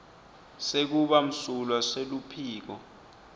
sekuba msulwa seluphiko